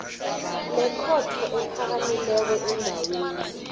lekhotho ephakamileko endaweni